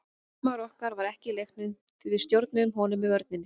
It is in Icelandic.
Markmaður okkar var ekki í leiknum því við stjórnuðum honum með vörninni.